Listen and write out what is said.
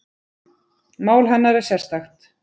Mál hennar er sérstakt